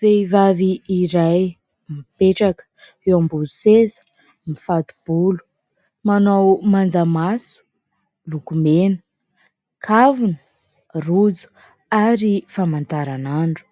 Vehivavy iray mipetraka eo ambony seza mifato-bolo, manao manjamaso, lokomena, kavina, rojo ary famantaran'andro ;